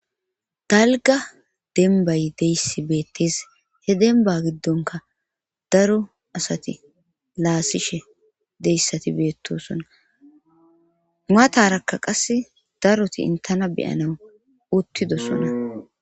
dalga dembay deyssi beettes he demba giddonka daro asati laasishe deyssati beettosonna maatarakka qas daroti intana beyana uttidosona